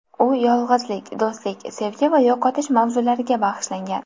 U yolg‘izlik, do‘stlik, sevgi va yo‘qotish mavzulariga bag‘ishlangan.